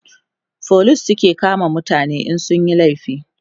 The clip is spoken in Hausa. police su suke kama mutane in sun Yi laifi